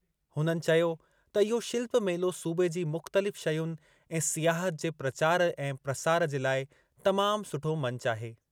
हुननि चयो त इहो शिल्प मेलो सूबे जी मुख़्तलिफ़ शयुनि ऐं सियाहत जे प्रचार ऐं प्रसार जे लाइ तमाम सुठो मंचु आहे।